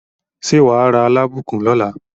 Ṣé wà á ra Alábùkún lọ́la?